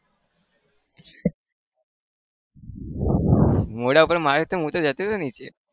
મોઢા ઉપર મારશે તો હૂતો જતો રહીશ નીચે